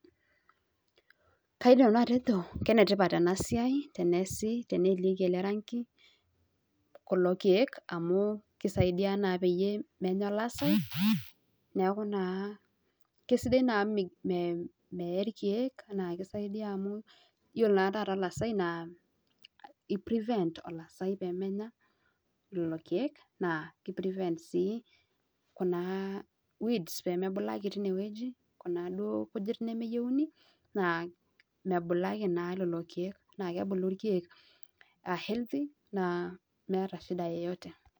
Kenetipat teneelieki orangi kulo kiek peemenya olasai niakuunaa kesidai amu meeya alasai lelo kiek naa keibooyo weeds peemebulaki amu kebuli ilkiek aa biyot naa meeta enyamali